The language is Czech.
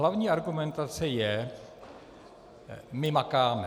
Hlavní argumentace je - my makáme.